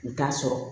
U t'a sɔrɔ